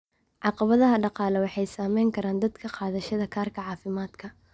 Caqabadaha dhaqaale waxay saameyn karaan dadka qaadashada kaararka caafimaadka.